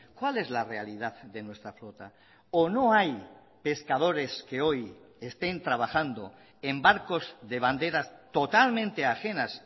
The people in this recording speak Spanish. cuál es la realidad de nuestra flota o no hay pescadores que hoy estén trabajando en barcos de banderas totalmente ajenas